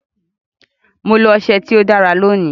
Mo lo ọsẹ tí ó dára lónìí.